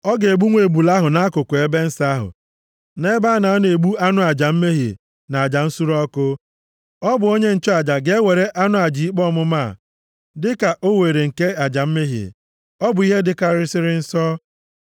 Ọ ga-egbu nwa ebule ahụ nʼakụkụ ebe nsọ ahụ, nʼebe a na-anọ egbu anụ aja mmehie na aja nsure ọkụ. Ọ bụ onye nchụaja ga-ewere anụ aja ikpe ọmụma a, dịka o were nke aja mmehie. Ọ bụ ihe dịkarịsịrị nsọ.